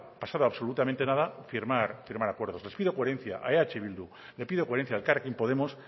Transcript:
pasado absolutamente nada firmar acuerdos les pido coherencia a eh bildu le pido coherencia a elkarrekin podemos